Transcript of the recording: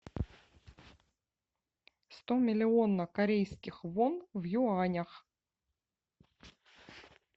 сто миллионов корейских вон в юанях